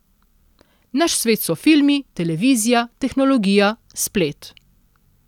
Naš svet so filmi, televizija, tehnologija, splet.